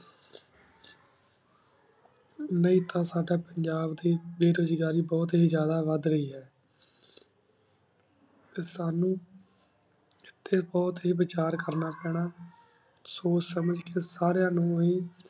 ਨਹੀ ਟੀ ਸਦਾ ਪੰਜਾਬ ਦੇ ਬੇਰੋਜ਼ਗਾਰੀ ਬੁਘ੍ਤ ਹੇ ਜ਼ਿਯਾਦਾ ਵਾਦ ਰਹੀ ਆ ਟੀ ਸਾਨੂ ਇਥੀ ਬੁਹਤ ਹੇ ਵਿਚਾਰ ਕਰਨਾ ਪੀਨਾ ਸੋਚ ਸਮਝ ਕੀ ਸਰ੍ਯੀਆਂ ਨੂ ਹੇ